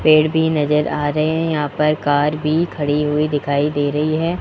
पेड़ भी नजर आ रहे हैं यहां पर कार भी खड़ी हुई दिखाई दे रही है।